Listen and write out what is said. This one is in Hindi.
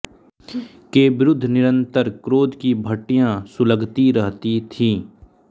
के विरूद्ध निरन्तर क्रोध की भट्टियाँ सुलगती रहती थीं